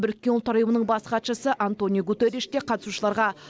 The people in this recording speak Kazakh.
біріккен ұлттар ұйымының бас хатшысы антониу гуттериш те қатысушыларға